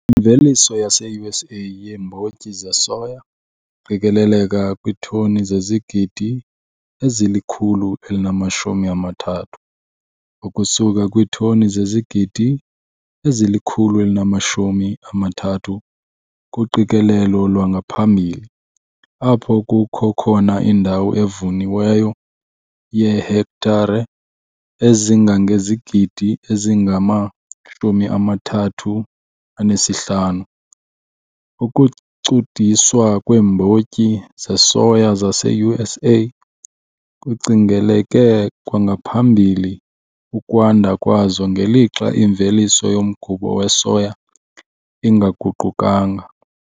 Imveliso yaseUSA yeembotyi zesoya iqikeleleka kwiitoni zezigidi ezili-123, ukusuka kwiitoni zezigidi ezili-123 kuqikelelo lwangaphambili, apho kukho khona indawo evuniweyo yeehektare ezingangezigidi ezingama-35. Ukucudiswa kweembotyi zesoya zaseUSA kucingeleke kwangaphambili ukwanda kwazo ngelixa imveliso yomgubo wesoya ingaguqukanga.